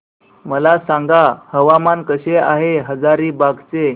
मला सांगा हवामान कसे आहे हजारीबाग चे